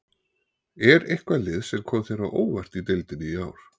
Er eitthvað lið sem kom þér á óvart í deildinni í ár?